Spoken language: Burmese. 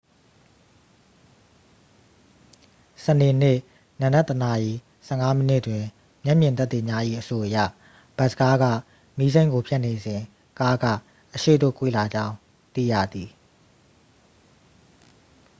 စနေနေ့ နံနက် 1 နာရီ 15 မိနစ်တွင် မျက်မြင်သက်သေများ၏ အဆိုအရ ဘတ်စ်ကားက မီးစိမ်းကို ဖြတ်နေစဉ် ကားက အရှေ့သို့ ကွေ့လာကြောင်း သိရသည်